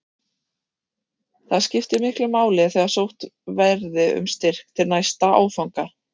Það skipti miklu máli þegar sótt verði um styrk til næsta áfanga.